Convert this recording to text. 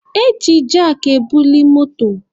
E ji jakị ebuli moto.